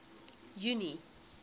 junie